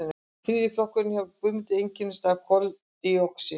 þriðji flokkurinn hjá guðmundi einkennist af koldíoxíði